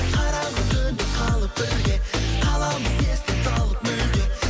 қараңғы түнде қалып бірге қаламыз естен талып мүлде